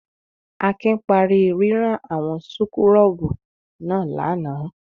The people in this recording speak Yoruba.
Akin parí rírán àwọn súkúrọ́bù náà lánàá.